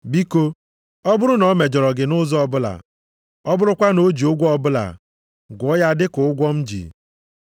Biko, ọ bụrụ na o mejọrọ gị nʼụzọ ọbụla, ọ bụrụkwa na o ji ụgwọ ọbụla, gụọ ya dị ka ụgwọ m ji gị.